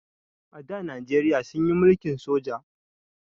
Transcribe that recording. A da najeriya sunyi mulkin soja